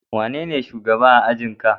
Wanene shugaba a ajin ka?